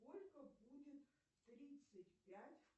сколько будет тридцать пять